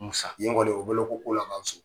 Musa ye kɔni o bɛ wele ko' laban so.